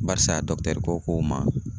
Barisa ko ko ma